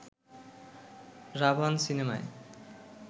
'রাভান' সিনেমায়